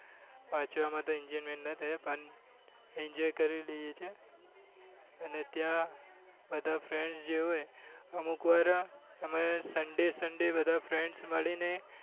વાંચવા માં તો enjoyment નાં જોઈ પણ enjoy કરી લઈએ છીએ અને ત્યાં બધા friends જે હોય એ અમુકવાર અમે sunday sunday બધા friends મળી ને